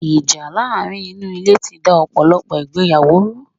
Ìjà láàrin inú Ilé ti da ọ̀pọ̀lọ̀pọ̀ ìgbéyàwó ru